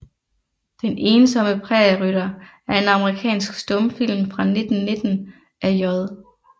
Den ensomme Prærierytter er en amerikansk stumfilm fra 1919 af J